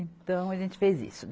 Então, a gente fez isso.